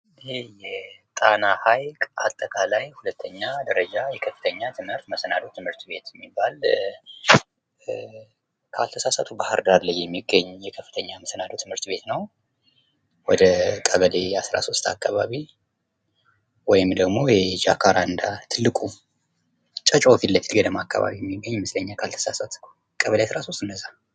ይሄ የጣና ሀይቅ አጠቃላይ 2ኛ ደረጃ የከፍተኛ ትምህርት መሰናዶ ትምህርት የሚባል ካልተሳሳትሁ ባህርዳር ላይ የሚገኝ ከፍተኛ የመሰናዶ ትምህርት ቤት ነዉ።